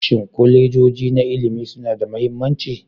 Shin kolejoji na ilimi suna da mahimmanci?